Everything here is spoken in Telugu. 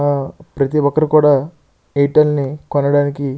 ప్రతి ఒక్కరు కూడా ఎయిర్టెల్ కొనడానికి.